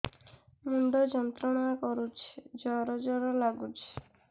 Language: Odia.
ମୁଣ୍ଡ ଯନ୍ତ୍ରଣା କରୁଛି ଜର ଜର ଲାଗୁଛି